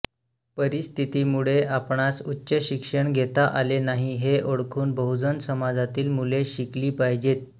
परिस्थितीमुळे आपणास उच्च शिक्षण घेता आले नाही हे ओळखून बहुजन समाजातील मुले शिकली पाहिजेत